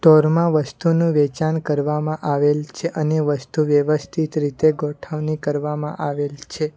વસ્તુનું વેચાણ કરવામાં આવેલ છે અને વસ્તુ વ્યવસ્થિત રીતે ગોઠવણી કરવામાં આવેલ છે.